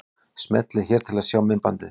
Smellið hér til að sjá myndbandið.